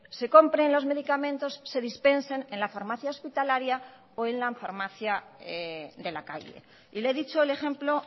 se compren los medicamentos se dispensen en la farmacia hospitalaria o en la farmacia de la calle y le he dicho el ejemplo